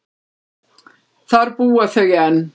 Þar búa þau enn.